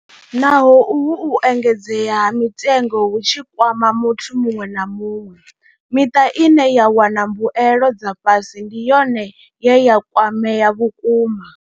Naho uhu u engedzea ha mitengo hu tshi kwama muthu muṅwe na muṅwe, miṱa ine ya wana mbuelo dza fhasi ndi yone ye ya kwamea vhukuma.